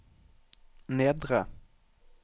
nedre